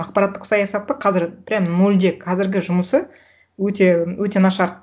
ақпараттық саясатты қазір прямо нольде қазіргі жұмысы өте өте нашар